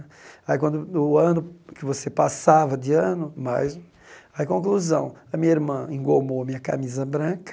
Aí, quando o ano que você passava de ano, mais, aí, conclusão, a minha irmã engomou a minha camisa branca,